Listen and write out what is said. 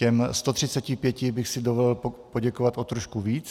Těm 135 bych si dovolil poděkovat o trošku víc.